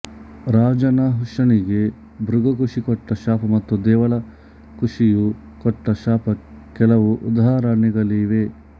ರಾಜ ನಹುಷನಿಗೆ ಭೃಗು ಋಷಿ ಕೊಟ್ಟ ಶಾಪ ಮತ್ತು ದೇವಲ ಋಷಿಯು ಕೊಟ್ಟ ಶಾಪ ಕೆಲವು ಉದಾಹರಣೆಗಳಾಗಿವೆ